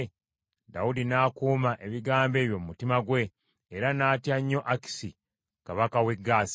Dawudi n’akuuma ebigambo ebyo mu mutima gwe, era n’atya nnyo Akisi kabaka w’e Gaasi.